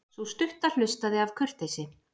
Sú stutta hlustaði af kurteisi.